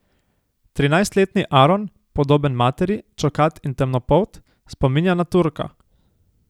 Trinajstletni Aron, podoben materi, čokat in temnopolt, spominja na Turka.